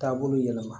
Taabolo yɛlɛma